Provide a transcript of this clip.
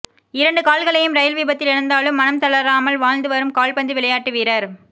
இரண்டு கால்களையும் ரயில் விபத்தில் இழந்தாலும் மனம் தளராமல் வாழ்ந்து வரும் கால்பந்து விளையாட்டு வீரர்